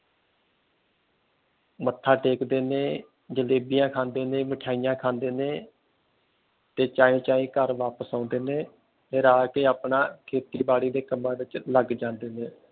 ਮੱਥਾ ਟੇਕ ਦੇ ਨੇ ਜਲੇਬੀਆਂ ਖਾਂਦੇ ਨੇ ਮਿਠਾਈਆਂ ਖਾਂਦੇ ਨੇ ਤੇ ਚਾਈ ਚਾਈ ਘਰ ਵਾਪਿਸ ਆਉਂਦੇ ਨੇ ਫਿਰ ਆ ਕੇ ਖੇਤੀ ਬਾੜੀ ਦੇ ਕੰਮਾ ਵਿਚ ਲਗ ਜਾਂਦੇ ਨੇ